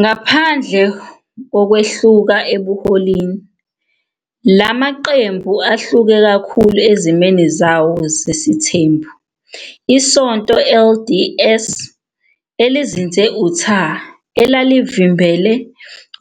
Ngaphandle kokwehluka ebuholini, la maqembu ahluke kakhulu ezimeni zawo zesithembu, iSonto LDS elizinze e-Utah elalivimbele